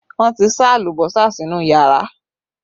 Wọn ti sá alùbọ́sà sínú yàrá